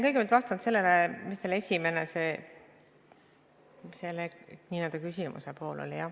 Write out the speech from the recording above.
Kõigepealt vastan sellele, mis oli teie küsimuse esimene pool.